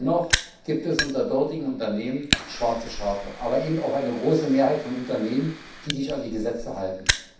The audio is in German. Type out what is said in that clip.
Dennoch gibt es unter dortigen Unternehmen schwarze Schafe, aber eben auch eine große Mehrheit von Unternehmen, die sich an die Gesetze halten.